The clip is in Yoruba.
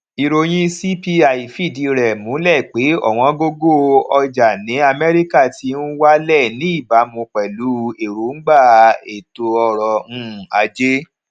ìròyìn cpi fìdí rè múlẹ pé òwóngógó ọjà ní amérícà ti n wálè ní ìbámu pèlú èròngbà ètò ọrò um ajé